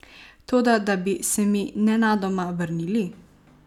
Toda, da bi se mi nenadoma vrnili?